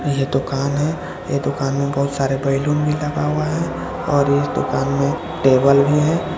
यह दुकान है ए दुकान में बहुत सारे बलून भी लगा हुआ है और इस दुकान में टेबल भी है।